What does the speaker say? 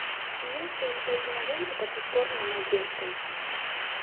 есть ли у тебя кинолента по ту сторону надежды